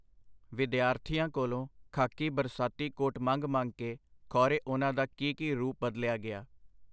ਵਿਦਿਆਰਥੀਆਂ ਕੋਲੋਂ ਖਾਕੀ ਬਰਸਾਤੀ ਕੋਟ ਮੰਗ-ਮੰਗ ਕੇ ਖੌਰੇ ਉਹਨਾਂ ਦਾ ਕੀ ਕੀ ਰੂਪ ਬਦਲਿਆ ਗਿਆ.